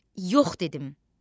Yox dedim.